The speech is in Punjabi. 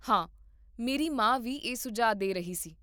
ਹਾਂ, ਮੇਰੀ ਮਾਂ ਵੀ ਇਹ ਸੁਝਾਅ ਦੇ ਰਹੀ ਸੀ